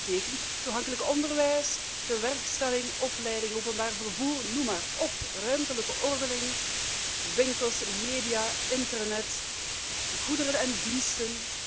Dat betekent toegankelijk onderwijs, tewerkstelling, opleiding, openbaar vervoer, noem maar op, ruimtelijke ordening, winkels, media, internet, goederen en diensten.